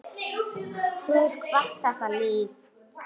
Þú hefur kvatt þetta líf.